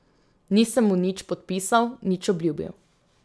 Nisem mu nič podpisal, nič obljubil.